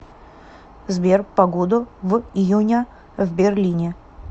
сбер погоду в июня в берлине